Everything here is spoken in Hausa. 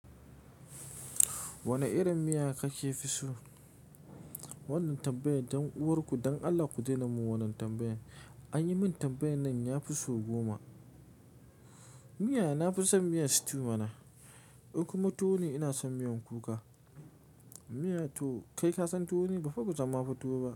Wane irin miya kake fi so? Wannan tambayan dan uwarku, don Allah ku daina mun wannan tambayan. An yi min tambayan nan ya fi so goma. Miyan, na fi son miyan stew mana. In kuma tuwo ne, ina son miyan kuka. Kai ka san tuwo ne, ba fa ba mu zama mu ci tuwo ba.